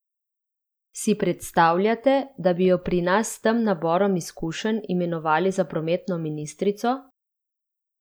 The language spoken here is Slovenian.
Si predstavljate, da bi jo pri nas s tem naborom izkušenj imenovali za prometno ministrico?